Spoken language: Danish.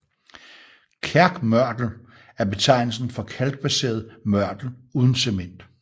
Kalkmørtel er betegnelsen for kalkbaseret mørtel uden cement